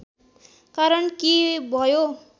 कारण के भयो